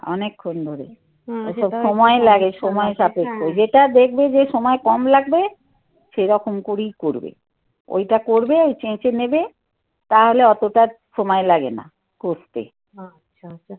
অনেকক্ষণ ধরে ওসব সময় লাগে, সময় সাপেক্ষ যেটা দেখবে যে সময় কম লাগবে. সেরকম করেই করবে. ওইটা করবে, ওই চেঁচে নেবে. তাহলে অতটা সময় লাগে না. করতে. আচ্ছা